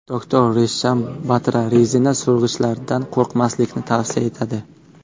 Doktor Resham Batra rezina so‘rg‘ichlardan qo‘rqmaslikni tavsiya etadi.